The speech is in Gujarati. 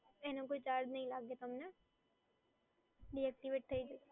એનો કોઈ ચાર્જ નઈ લાગે તમને, ડીએક્ટિવેટ થઈ જશે